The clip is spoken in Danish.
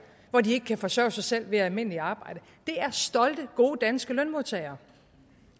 hvor de ikke kan forsørge sig selv ved almindeligt arbejde det er stolte gode danske lønmodtagere